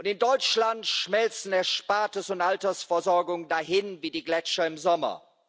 In Deutschland schmelzen Erspartes und Altersversorgung dahin wie die Gletscher im Sommer.